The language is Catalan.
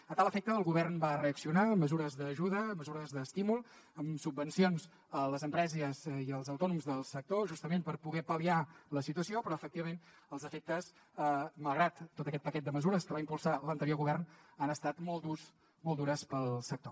a tal efecte el govern va reaccionar amb mesures d’ajuda amb mesures d’estímul amb subvencions a les empreses i als autònoms del sector justament per poder pal·liar la situació però efectivament els efectes malgrat tot aquest paquet de mesures que va impulsar l’anterior govern han estat molt durs per al sector